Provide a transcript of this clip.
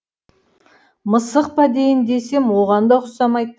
мысық па дейін десем оған да ұқсамайды